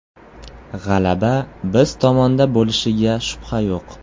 G‘alaba biz tomonda bo‘lishiga shubha yo‘q.